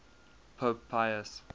pope pius